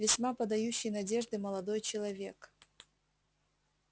весьма подающий надежды молодой человек